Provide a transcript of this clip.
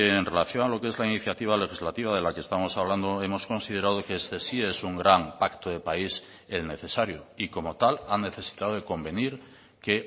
en relación a lo que es la iniciativa legislativa de la que estamos hablando hemos considerado que este sí es un gran pacto de país el necesario y como tal ha necesitado de convenir que